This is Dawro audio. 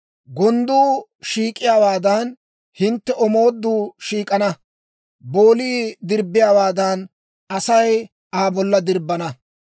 Gondduu shiik'iyaawaadan, hintte omooduu shiik'ana; boolii dirbbiyaawaadan, Asay Aa bolla dirbbana.